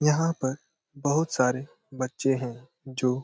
यहाँ पर बहुत सारे बच्चे है जो--